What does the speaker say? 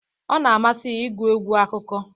Ọ na amasị ya ịgụ egwu akụkọ